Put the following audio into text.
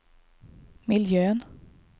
miljön